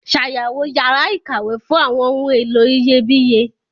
Ṣàyẹ̀wò yàrá ìkàwé fún àwọn ohun èlò iyebíye.